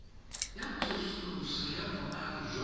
ya tsosoloso ya boagi jwa